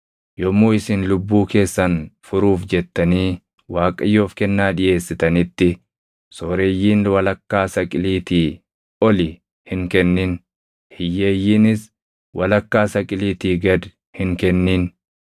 Yommuu isin lubbuu keessan furuuf jettanii Waaqayyoof kennaa dhiʼeessitanitti sooreyyiin walakkaa saqiliitii oli hin kennin; hiyyeeyyiinis walakkaa saqiliitii gad hin kennin.